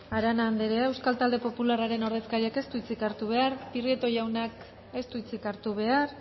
arana anderea euskal talde popularraren ordezkariak ez du hitzik hartu behar prieto jaunak ez du hitzik hartu behar